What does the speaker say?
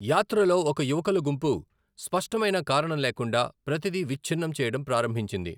యాత్రలో, ఒక యువకుల గుంపు స్పష్టమైన కారణం లేకుండా ప్రతిదీ విచ్ఛిన్నం చేయడం ప్రారంభించింది.